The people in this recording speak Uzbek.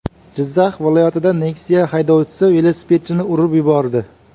Jizzax viloyatida Nexia haydovchisi velosipedchini urib yubordi.